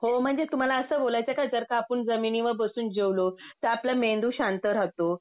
हो म्हणजे तुम्हाला असं बोलायचंय का जरका आपण जमिनीवर बसून जेवलो तर आपला मेंदू शांत राहतो.